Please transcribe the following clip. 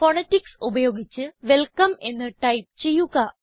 phonetics ഉപയോഗിച്ച് welcome എന്ന് type ചെയ്യുക